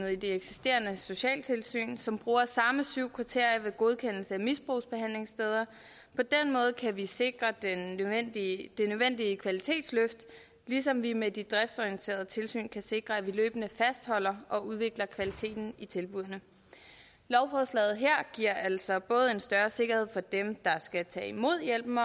eksisterende socialtilsyn som bruger de samme syv kriterier ved godkendelse af misbrugsbehandlingssteder på den måde kan vi sikre det nødvendige kvalitetsløft ligesom vi med de driftsorienterede tilsyn kan sikre at vi løbende fastholder og udvikler kvaliteten i tilbuddene lovforslaget her giver altså både en større sikkerhed for dem der skal tage imod hjælpen